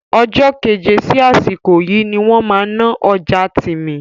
Ọjọ́ keje sí àsìkò yìí ni wọ́n máa náà ọjà Tìmì